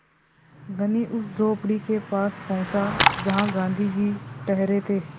धनी उस झोंपड़ी के पास पहुँचा जहाँ गाँधी जी ठहरे थे